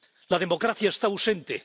La democracia está ausente.